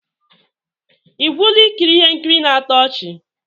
Ị gwụla ikiri ihe nkiri na-atọ ọchị?